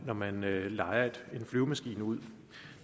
når man lejer en flyvemaskine ud